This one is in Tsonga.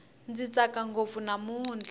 ndzi tsaka ngopfu namutlha